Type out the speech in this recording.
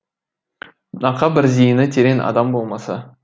нақа бір зиыны терең адам болмаса